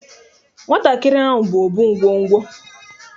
Nwatakịrị ahụ bụ Obụ ngwo ngwo